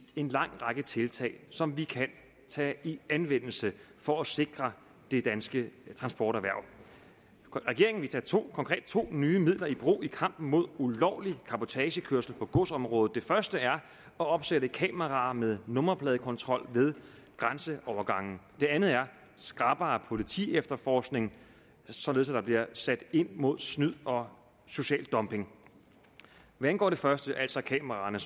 en lang række tiltag som vi kan tage i anvendelse for at sikre det danske transporterhverv regeringen tage to nye midler i brug i kampen mod ulovlig cabotagekørsel på godsområdet det første er at opsætte kameraer med nummerpladekontrol ved grænseovergange det andet er skrappere politiefterforskning således at der bliver sat ind mod snyd og social dumping hvad angår det første altså kameraerne